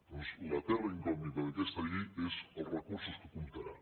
doncs la ter ra incògnita d’aquesta llei són els recursos amb què comptarà